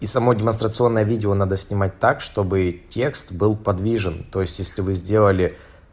и сама демонстрационное видео надо снимать так чтобы текст был подвижен то есть если вы сделали